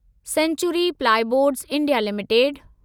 sanctuary plyboards India limited